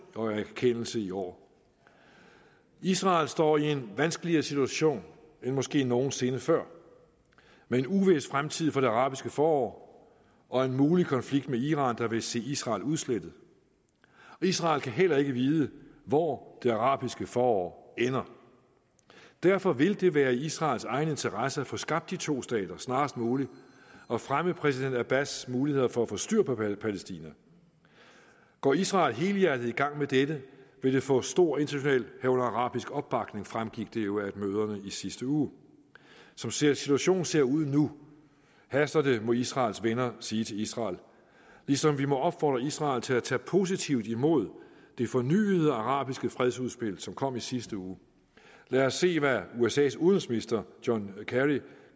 og erkendelse i år israel står i en vanskeligere situation end måske nogen sinde før med en uvis fremtid for det arabiske forår og en mulig konflikt med iran der vil se israel udslettet israel kan heller ikke vide hvor det arabiske forår ender derfor vil det være i israels egen interesse at få skabt de to stater snarest muligt og fremme præsident abbas muligheder for at få styr på palæstina går israel helhjertet i gang med dette vil det få stor international herunder arabisk opbakning fremgik det jo af møderne i sidste uge som situationen ser ud nu haster det det må israels venner sige til israel ligesom vi må opfordre israel til at tage positivt imod det fornyede arabiske fredsudspil som kom i sidste uge lad os se hvad usas udenrigsminister john kerry